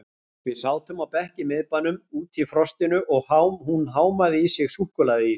Við sátum á bekk í miðbænum, úti í frostinu og hún hámaði í sig súkkulaðiís.